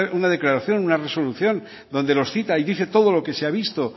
una declaración una resolución donde los cita y dice todo lo que se ha visto